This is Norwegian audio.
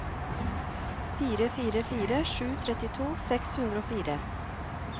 fire fire fire sju trettito seks hundre og fire